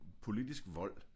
Politisk vold